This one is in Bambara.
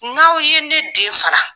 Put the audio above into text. N' aw ye ne den fara.